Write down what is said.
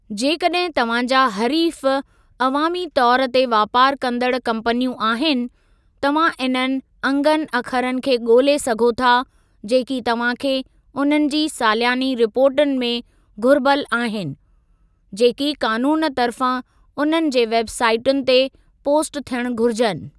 जेकॾहिं तव्हां जा हरीफ़ु अवामी तौरु ते वापारु कंदड़ु कम्पनियूं आहिनि, तव्हां इन्हनि अंगनि अखरनि खे ॻोल्हे सघो था जेकी तव्हां खे उन्हनि जी सालियानी रिपोर्टुनि में घुर्बल आहिनि, जेकी क़ानूनु तर्फ़ां उन्हनि जे वेब साईटुनि ते पोस्ट थियणु घुरिजुनि।